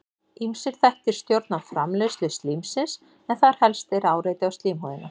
Ýmsir þættir stjórna framleiðslu slímsins en þar helst er áreiti á slímhúðina.